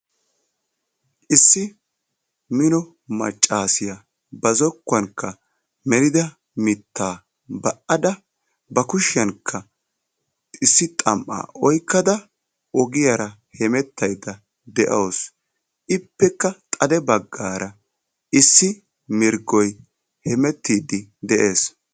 Issi mino maccaasiya ba zokkuwankka melida mittaa ba''ada ba kushiyankka issi xam''aa oyqqada ogiyaara hemettaydda de'awusu. Ippekka xade baggaara issi mirggoy hemettiiddi de'ees.